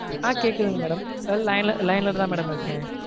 ஆஹ் கேக்குதுங்க madam line ல line லதா madam இருக்கேன்.